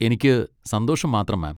എനിക്ക് സന്തോഷം മാത്രം, മാം.